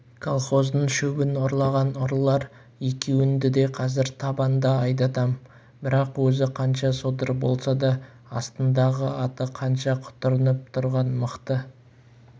колхоздың шөбін ұрлаған ұрылар екеуіңді де қазір табанда айдатам бірақ өзі қанша содыр болса да астындағы аты қанша құтырынып тұрған мықты